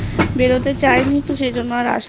একটু বেরোতে চায়নি সেজন্য তাই আসা হয়নি